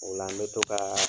Ola n bɛ to ka